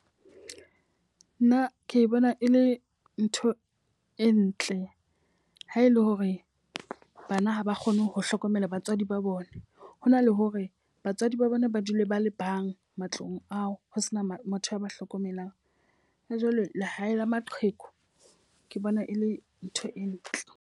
Nna ke bona e le ntho e ntle. Ha ele hore bana ha ba kgone ho hlokomela batswadi ba bone, ho na le ho hore batswadi ba bona ba dule ba le bang matlong ao ho sena motho ya ba hlokomelang. Jwale lehae la maqheku ke bona e le ntho e ntle.